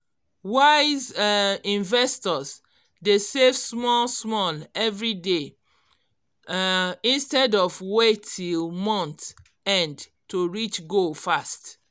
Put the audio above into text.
wise um investors dey save small small every day um instead of wait till month end to reach goal fast